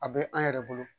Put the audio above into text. A bɛ an yɛrɛ bolo